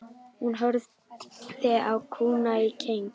Hún horfði á kúna í keng.